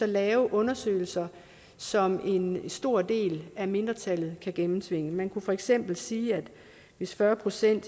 lave undersøgelser som en stor del af mindretallet kan gennemtvinge man kan for eksempel sige at hvis fyrre procent